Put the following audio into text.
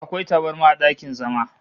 Akwai tabarma a dakin zama